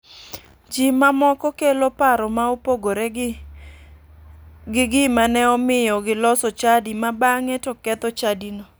Ji ma moko kelo paro ma opogore gi gima ne omiyo giloso chadi ma bang'e to ketho chadino.